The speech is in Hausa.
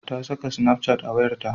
Ta saka snapchat a wayarta.